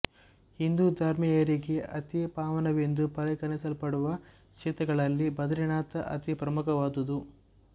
ಹಿಂದೂ ಧರ್ಮೀಯರಿಗೆ ಅತಿ ಪಾವನವೆಂದು ಪರಿಗಣಿಸಲ್ಪಡುವ ಕ್ಷೇತ್ರಗಳಲ್ಲಿ ಬದರಿನಾಥ ಅತಿ ಪ್ರಮುಖವಾದುದು